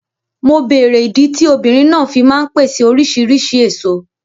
Mo bèrè ìdí tí obìnrin náà fí ń ma ń pèsè oríṣìrísìí èso.